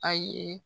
A ye